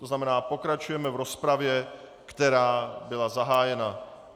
To znamená, pokračujeme v rozpravě, která byla zahájena.